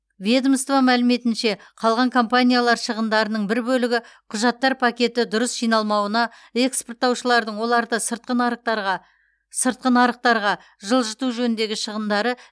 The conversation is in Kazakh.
ведомство мәліметінше қалған компаниялар шығындарының бір бөлігі құжаттар пакеті дұрыс жиналмауына экспорттаушылардың оларды сыртқы нарықтарға жылжыту жөніндегі шығындары